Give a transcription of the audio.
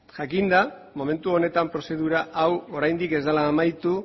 jakinda momentu honetan prozedura hau oraindik ez dela amaitu